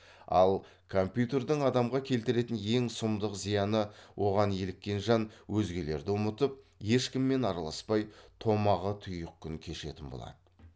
ал компьютердің адамға келтіретін ең сұмдық зияны оған еліккен жан өзгелерді ұмытып ешкіммен араласпай томаға тұйық күн кешетін болады